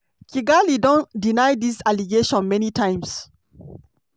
kigali don deny dis allegation many times.